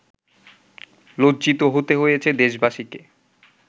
লজ্জিত হতে হয়েছে দেশবাসীকে